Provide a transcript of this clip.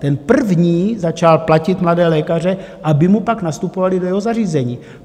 Ten první začal platit mladé lékaře, aby mu pak nastupovali do jeho zařízení.